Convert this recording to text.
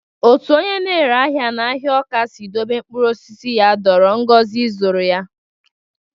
Otu onye na-ere ahịa n'ahịa Awka si dobe mkpụrụ osisi ya dọọrọ Ngozi ịzụrụ ya.